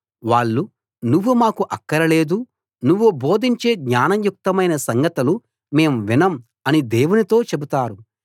వాళ్ళు నువ్వు మాకు అక్కరలేదు నువ్వు బోధించే జ్ఞానయుక్తమైన సంగతులు మేము వినం అని దేవునితో చెబుతారు